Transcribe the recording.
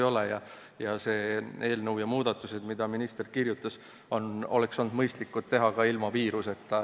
See eelnõu ja need muudatused, mida minister oma kirjas ette pani, oleksid olnud mõistlikud ka ilma viiruseta.